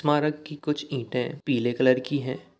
स्मारक की कुछ इंटे पीले कलर कि है --